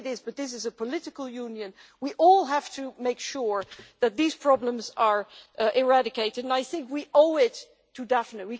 Yes it is. But this is a political union we all have to make sure that these problems are eradicated, and I think we owe it to Daphne.